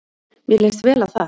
Mér leist vel á það.